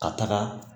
Ka taga